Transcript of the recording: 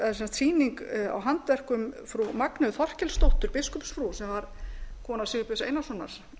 sýning á handverkum frú magneu þorkelsdóttur biskupsfrúar sem var kona sigurbjörns einarssonar